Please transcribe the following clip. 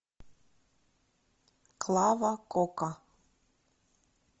клава кока